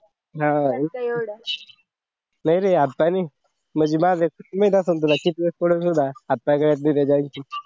हा नाही नाही आता नाही माझी request असेल तुला की थोडा थोडा हात पाय गळ्यात दिले जाईल